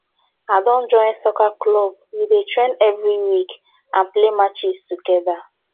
i don join soccer club we dey train every week and play matches together